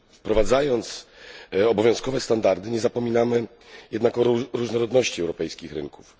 Wprowadzając obowiązkowe standardy, nie zapominamy jednak o różnorodności europejskich rynków.